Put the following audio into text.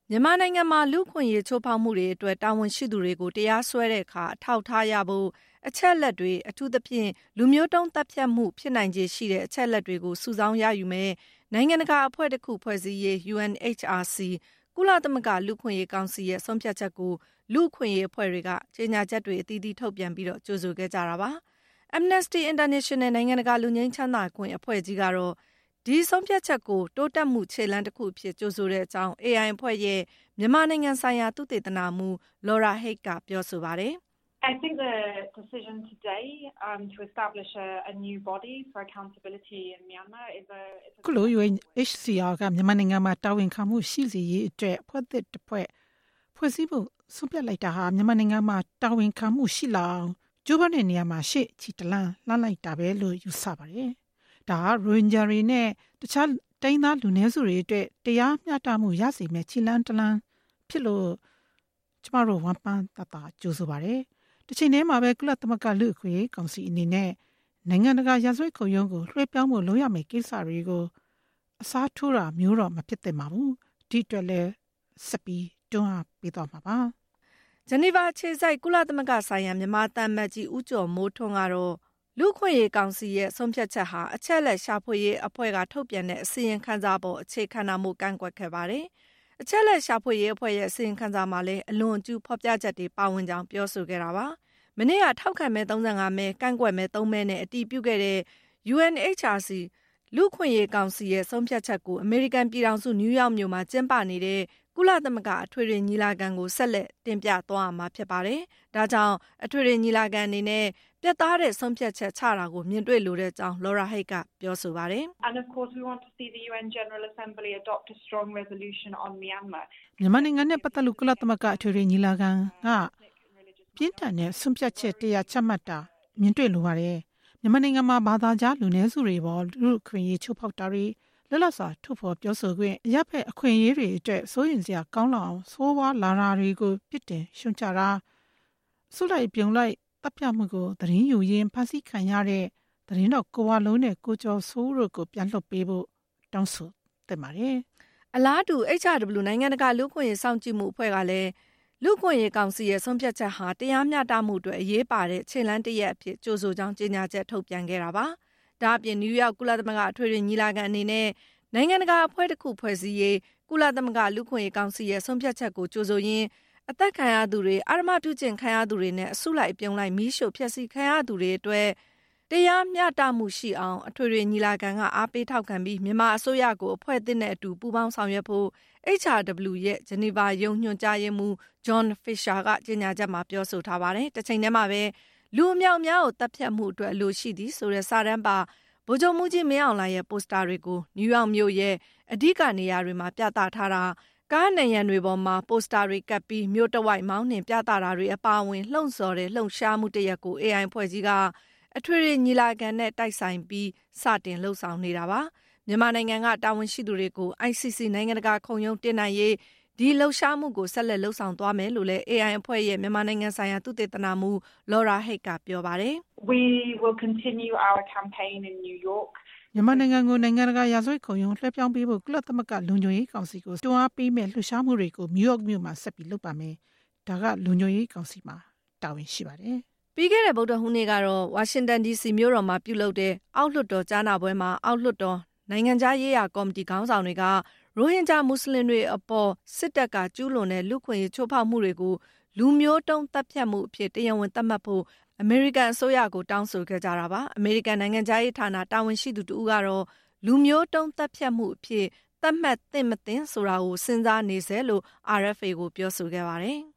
မြန်မာနိုင်ငံမှာ လူ့အခွင့်အရေးချိုးဖောက်မှုတွေအတွက် တာဝန်ရှိသူတွေကို တရားစွဲတဲ့အခါ အထောက်အထား ရဖို့အတွက် အချက်အလက်တွေ အထူးသဖြင့် ‘လူမျိုးတုံးသတ်ဖြတ်မှု’ ဖြစ်နိုင်ချေရှိတဲ့ အချက်အလက်တွေကို စုဆောင်းရယူမယ့် နိုင်ငံတကာအဖွဲ့တစ်ခု ဖွဲ့စည်းရေး UNHRC ကုလသမဂ္ဂ လူ့အခွင့်အရေးကောင်စီရဲ့ ဆုံးဖြတ်ချက်ကို လူ့အခွင့်အရေးအဖွဲ့တွေက ကြေညာချက်တွေ အသီးသီး ထုတ်ပြန်ပြီး ကြိုဆိုခဲ့ကြတာပါ။ Amnesty International နိုင်ငံတကာ လွတ်ငြိမ်းချမ်းသာခွင့် အဖွဲ့ကြီးကတော့ - ဒီဆုံးဖြတ်ချက်ဟာ တိုးတက်မှုခြေလှမ်း တခုအဖြစ် ကြိုဆိုကြောင်း AI အဖွဲ့ရဲ့ မြန်မာနိုင်ငံဆိုင်ရာ သုတေသနမှူး Laura Haigh က ပြောဆိုပါတယ်။ “ အခုလို UNHRC က မြန်မာနိုင်ငံမှာ တာဝန်ခံမှု ရှိစေရေးအတွက် အဖွဲ့သစ်တခု ဖွဲ့စည်းဖို့ ဆုံးဖြတ်လိုက်တာဟာ မြန်မာနိုင်ငံမှာ တာဝန်ခံမှုရှိလာအောင် ကြိုးပမ်းမှုမှာ ရှေ့ကိုခြေတလှမ်း လှမ်းလိုက်တာလို့ပဲ ယူဆပါတယ်။ ဒါဟာ ရိုဟင်ဂျာတွေနဲ့ တခြားတိုင်းရင်းသား လူနည်းစုတွေအတွက် တရားမျှတမှုရစေမယ့် ခြေလှမ်းတလှမ်းဖြစ်တာကြောင့် ကျမတို့အနေနဲ့ ဝမ်းပမ်းတသာ ကြိုဆိုပါတယ်ရှင်။ တချိန်တည်းမှာပဲ ကုလသမဂ္ဂ လူ့အခွင့်အရေးကောင်စီအနေနဲ့ နိုင်ငံတကာ ရာဇဝတ်ခုံရုံးကို လွှဲပြောင်းရေး လုပ်ရမယ့်ကိစ္စကို အစားထိုးတာမျိုးတော့ မဖြစ်သင့်ပါဘူး။ ဒီအတွက်လည်း ဆက်ပြီးတွန်းအားပေးသွားမှာပါ” ဂျနီဗာအခြေစိုက် ကုလသမဂ္ဂဆိုင်ရာ မြန်မာသံအမတ်ကြီး ဦးကျော်မိုးထွန်း ကတော့ - လူ့အခွင့်ရေးကောင်စီရဲ့ ဆုံးဖြတ်ချက်ဟာ အချက်အလက်ရှာဖွေရေးအဖွဲ့က ထုတ်ပြန်တဲ့ အစီရင်ခံစာအပေါ် အခြေခံတာမို့ ကန့်ကွက်ခဲ့ ပါတယ်။ အချက်အလက်ရှာဖွေရေးအဖွဲ့ရဲ့ အစီရင်ခံစာမှာလည်း အလွန်အကျူးဖော်ပြချက်တွေ ပါဝင်ကြောင်း ပြောဆိုခဲ့ပါတယ်။ မနေ့က ထောက်ခံမဲ ၃၅ မဲ ကန့်ကွက်မဲ ၃ မဲနဲ့ အတည်ပြုခဲ့တဲ့ UNHRC ရဲ့ ဆုံးဖြတ်ချက်ကို အမေရိကန်ပြည်ထောင်စု နယူးယောက်မြို့မှာ ကျင်းပနေတဲ့ ကုလသမဂ္ဂ အထွေထွေညီလာခံကို ဆက်လက် တင်ပြသွားရမှာဖြစ်ပါတယ်။ အထွေထွေညီလာခံအနေနဲ့ ပြတ်သားတဲ့ ဆုံးဖြတ်ချက် မြင်တွေ့လိုကြောင်းလည်း Laura Haigh က ပြောဆိုခဲ့ပါတယ်။ “မြန်မာနိုင်ငံနဲ့ ပတ်သက်လို့ ကုလသမဂ္ဂ အထွေထွေညီလာခံကြီးက ပြင်းထန်တဲ့ ဆုံးဖြတ်ချက်တရပ် ချမှတ်တာ ကျမတို့ မြင်တွေ့လိုပါတယ်။ မြန်မာနိုင်ငံမှာ ဘာသာခြား လူနည်းစုတွေအပေါ် လူ့အခွင့်အရေး ချိုးဖောက်မှုတွေ၊ လွတ်လပ်စွာ ထုတ်ဖော်ပြောဆိုခွင့်၊ အရပ်ဖက် အခွင့်အရေးတွေအတွက် စိုးရိမ်စရာကောင်းလောက်အောင် ဆိုးရွားလာနေတာတွေကို ပြစ်တင်ရှုတ်ချတာ၊ လူအစုလိုက် အပြုံလိုက် သတ်ဖြတ်မှုကို သတင်းယူရင်း ဖမ်းဆီးခံ ခဲ့ရတဲ့ သတင်းထောက် ကိုဝလုံးနဲ့ ကိုကျော်စိုးဦးတို့ကို ပြန်လွှတ်ပေးဖို့ တောင်းဆိုတာတွေ လုပ်သင့်ပါတယ်” အလားတူ HRW နိုင်ငံတကာ လူ့အခွင့်အရေးစောင့်ကြည့်မှုအဖွဲ့က ကုလသမဂ္ဂ လူ့အခွင့်အရေးကောင်စီရဲ့ ဆုံးဖြတ်ချက်ဟာ - တရားမျှတမှုအတွက် အရေးပါတဲ့ ခြေလှမ်းတရပ်အဖြစ် ကြိုဆိုကြောင်း ကြေညာချက် ထုတ်ပြန်ခဲ့တာပါ။ ဒါ့အပြင် နယူးယောက် ကုလသမဂ္ဂ အထွေထွေ ညီလာခံကြီးအနေနဲ့ နိုင်ငံတကာ အဖွဲ့တစ်ခု ဖွဲ့စည်းရေး ကုလသမဂ္ဂ လူ့အခွင့်အရေးကောင်စီရဲ့ ဆုံးဖြတ်ချက်ကို ကြိုဆိုရင်း၊ အသတ်ခံရသူတွေ၊ အဓမ္မပြုကျင့်ခံရသူတွေနဲ့ အစုလိုက်အပြုံလိုက် မီးရှို့ဖျက်ဆီးခံခဲ့ရသူတွေအတွက် တရားမျှတမှုရှိအောင် အထွေထွေ ညီလာခံက အားပေးထောက်ခံပြီး၊ မြန်မာအစိုးရကိုလည်း အဖွဲ့သစ်နဲ့အတူ ပူးပေါင်းဆောင်ရွက်ဖို့ HRW ရဲ့ ဂျနီဗာရုံး ညွှန်ကြားရေးမှူး John Fisher က ကြေညာချက်မှာ ပြောဆိုထားပါတယ်။ တချိန်တည်းမှာပဲ “လူအမြောက်အများကို သတ်ဖြတ်မှုအတွက် အလိုရှိသည်” ဆိုတဲ့ စာတမ်းပါ ဗိုလ်ချုပ်မှူးကြီး မင်းအောင်လှိုင်ရဲ့ ပိုစတာတွေကို နယူးယောက်မြို့ရဲ့ အဓိကနေရာတွေမှာ ပြသထားတာ၊ ကားနံရံတွေပေါ်မှာ ပိုစတာတွေကပ်ပြီး မြို့တဝိုက် မောင်းနှင်ပြသတာတွေ ပါဝင်တဲ့ လှုံ့ဆော်လှုပ်ရှားမှုတရပ်ကို AI အဖွဲ့ကြီးက အထွေထွေညီလာခံနဲ့ တိုက်ဆိုင်ပြီး စတင်လုပ်နေတာပါ။ မြန်မာနိုင်ငံက တာဝန်ရှိသူတွေကို ICC နိုင်ငံတကာခုံရုံး တင်နိုင်ရေး ဒီလှုပ်ရှားမှုကို ဆက်လက် လုပ်ဆောင်သွားမယ်လို့လည်း AI အဖွဲ့ရဲ့ မြန်မာနိုင်ငံဆိုင်ရာ သုတေသနမှူး Laura Haigh က ပြောပါတယ်။ “မြန်မာနိုင်ငံကို နိုင်ငံတကာရာဇဝတ်ခုံရုံး လွဲှပြောင်းပေးဖို့ ကုလသမဂ္ဂလုံခြုံရေးကောင်စီကို ဆက်လက်တွန်း အားပေးမယ့် လှုပ်ရှားမှုတွေ နယူးယောက်မြို့မှာ ဆက်လုပ်သွားမှာပါ။ ဒါက လုံခြုံရေးကောင်စီမှာ တာဝန်ရှိပါတယ်” ပြီးခဲ့တဲ့ ဗုဒ္ဓဟူးနေ့ကတော့ ဝါရှင်တန်ဒီစီမြို့တော်မှာ ပြုလုပ်တဲ့ အောက်လွှတ်တော်ကြားနာပွဲမှာ အောက်လွှတ်တော် နိုင်ငံခြားရေးရာကော်မတီ ခေါင်းဆောင်တွေက - ရိုဟင်ဂျာမွတ်စလင်တွေအပေါ် စစ်တပ်က ကျူးလွန်တဲ့ လူ့အခွင့်အရေး ချိုးဖောက်မှုတွေကို “လူမျိုးတုံးသတ်ဖြတ်မှု” အဖြစ် တရားဝင် သတ်မှတ်ဖို့ အမေရိကန်အစိုးရကို တောင်းဆိုခဲ့ကြတာပါ။ အမေရိကန် နိုင်ငံခြားရေးဌာန တာဝန်ရှိသူတဦးကတော့ - “လူမျိုးတုံး သတ်ဖြတ်မှု” အဖြစ် သတ်မှတ်သင့် - မသင့် ဆိုတာကို စဉ်းစားနေဆဲလို့ RFA ကို ပြောဆိုခဲ့ပါတယ်